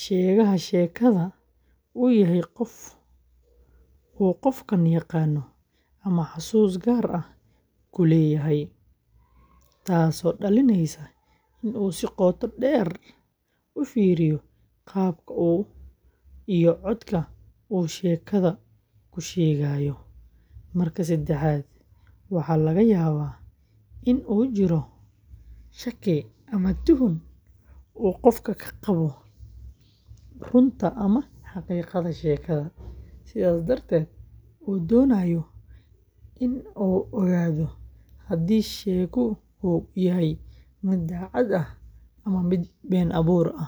sheegaha sheekada uu yahay qof uu qofkaan yaqaano ama xusuus gaar ah ku leeyahay, taasoo dhalinaysa in uu si qoto dheer u fiiriyo qaabka iyo codka uu sheekada u sheegayo; marka saddexaad, waxaa laga yaabaa in uu jiro shaki ama tuhun uu qofkaan ka qabo runta ama xaqiiqada sheekada, sidaas darteed uu doonayo in uu ogaado haddii sheeguhu yahay mid daacad ah ama been abuuraya.